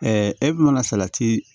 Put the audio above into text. e mana salati